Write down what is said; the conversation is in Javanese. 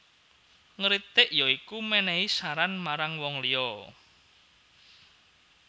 Ngritik ya iku menehi saran marang wong liya